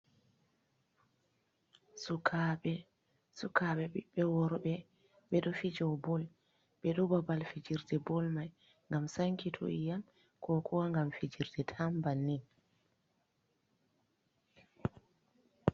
Sukaɓe ɓiɓɓe worɓe, ɓe ɗo fijew ɓol ɓe ɗo ɓaɓal fijirɗe ɓol mai, gam sanki tu’iyam ko kuwa gam fijirɗe tam ɓannin.